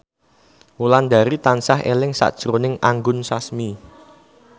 Wulandari tansah eling sakjroning Anggun Sasmi